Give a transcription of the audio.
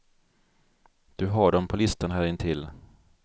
Du har dem på listan här intill.